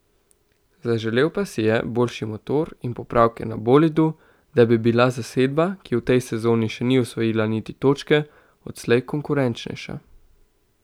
Zaželel pa si je boljši motor in popravke na bolidu, da bi bila zasedba, ki v tej sezoni še ni osvojila niti točke, odslej konkurenčnejša.